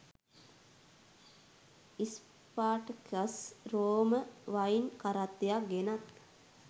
Spartacus රෝම wine කරත්තයක් ගෙනත්